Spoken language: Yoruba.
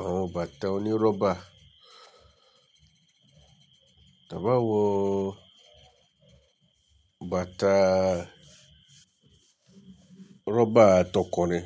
àwọn bàtà oní rọ́bà. Tà bi awọn bàtà rọ́bà tọkunrin.